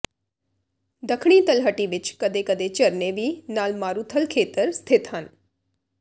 ਦੱਖਣੀ ਤਲਹਟੀ ਵਿੱਚ ਕਦੇ ਕਦੇ ਝਰਨੇ ਵੀ ਨਾਲ ਮਾਰੂਥਲ ਖੇਤਰ ਸਥਿਤ ਹਨ